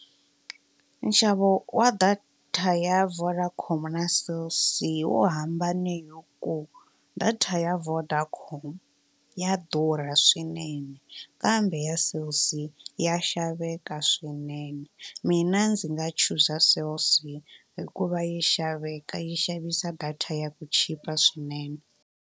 Nxavo wa data ya Vodacom na Cell C wu hambani ku data ya Vodacom ya durha swinene kambe ya Cell C ya xaveka swinene mina ndzi nga chuza Cell C hikuva yi xaveka yi xavisa data ya ku chipa swinene.